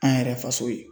An yɛrɛ faso ye